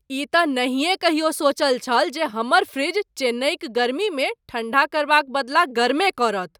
ई तँ नहिएँ कहियो सोचल छल जे हमर फ्रिज चेन्नईक गर्मीमे ठंडा करबाक बदला गरमे करत ।